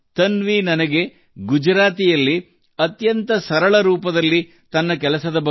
ತನ್ವಿ ತನ್ನ ಕೆಲಸದ ಬಗ್ಗೆ ನನಗೆ ಗುಜರಾತಿಯಲ್ಲಿ ತುಂಬಾ ಸರಳವಾಗಿ ತಿಳಿಸಿದ್ದಾಳೆ